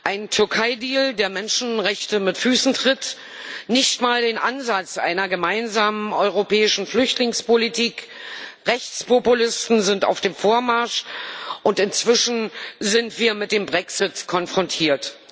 Einen Türkeideal, der Menschenrechte mit Füßen tritt, nicht einmal den Ansatz einer gemeinsamen europäischen Flüchtlingspolitik, Rechtspopulisten sind auf dem Vormarsch, und inzwischen sind wir mit dem Brexit konfrontiert.